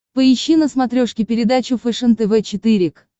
поищи на смотрешке передачу фэшен тв четыре к